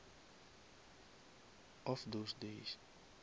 of those days